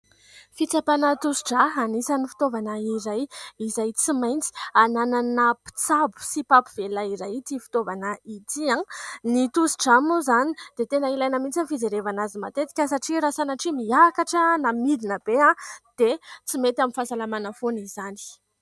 Fitsapana tosi-drà, anisan'ny fitaovana iray izay tsy maintsy hananana mpitsabo sy mpampivelona iray ity fitaovana ity. Ny tosi-drà moa izany dia tena ilaina mihitsy ny fijerevana azy matetika satria raha sanatria miakatra na midina be dia tsy mety amin'ny fahasalamana foana izany.